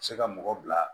Se ka mɔgɔ bila